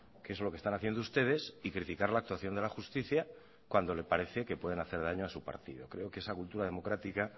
que es lo que están haciendo ustedes y criticar la actuación de la justicia cuando le parece que pueden hacer daño a su partido creo que esa cultura democrática